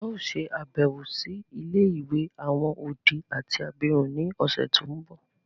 A o ṣe àbẹ̀wò si ilé-ìwé àwon odi àti abirún ni ọ̀ṣẹ̀ to nbọ.